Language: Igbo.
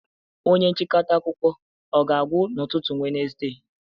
Onye nchịkọta akụkọ ọ ga-agwụ n'ụtụtụ Wenezde?